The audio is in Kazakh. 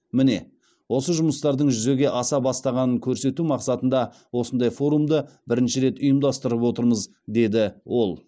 міне осы жұмыстардың жүзеге аса бастағанын көрсету мақсатында осындай форумды бірінші рет ұйымдастырып отырмыз деді ол